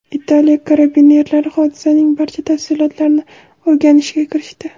Italiya karabinerlari hodisaning barcha tafsilotlarini o‘rganishga kirishdi.